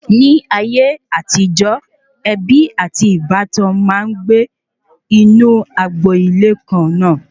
Ni ayé àtijó, ebi ati ìbátan maa n gbe inu agbo-ile kàn na